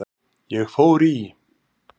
Ég fór í